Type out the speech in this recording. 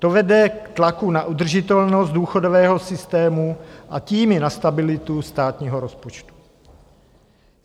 To vede k tlaku na udržitelnost důchodového systému a tím i na stabilitu státního rozpočtu.